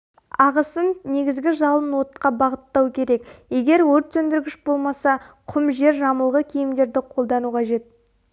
ағысын негізгі жалын отқа бағыттау керек егер өртсөндіргіш болмаса құм жер жамылғы киімдерді қолдану қажет